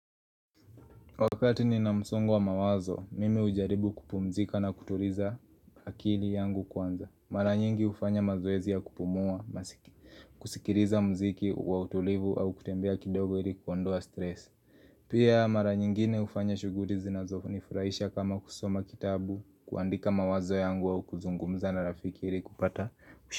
Wakati ni na msongo wa mawazo, mimi ujaribu kupumzika na kutuliza hakili yangu kwanza. Mara nyingi ufanya mazoezia kupumua, kusikiriza mziki, wa utulivu au kutembea kidogo ili kuondoa stress. Pia mara nyingine ufanya shuguli zinazofu nifurahisha kama kusoma kitabu, kuandika mawazo yangu au kuzungumza na rafiki ili kupata mshu.